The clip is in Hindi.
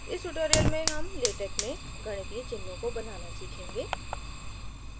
इस tutorial में हम latex में गणितीय चिन्हों को बनाना सीखेंगे